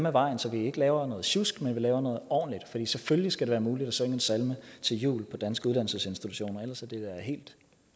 af vejen så vi ikke laver noget sjusk men vi laver noget ordentligt for selvfølgelig skal det være muligt at synge en salme til jul på danske uddannelsesinstitutioner ellers er det da helt